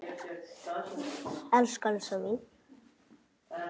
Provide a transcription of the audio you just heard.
Elsku Elsa mín.